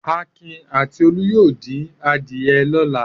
Akin àti Olú yóò dín adìẹ lọ́la.